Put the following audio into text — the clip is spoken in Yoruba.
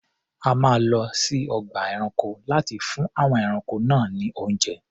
A máa lọ sí ọgbà ẹranko láti fún àwọn ẹranko náà ní oúnjẹ.